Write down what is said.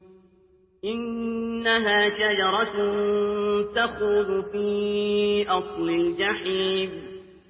إِنَّهَا شَجَرَةٌ تَخْرُجُ فِي أَصْلِ الْجَحِيمِ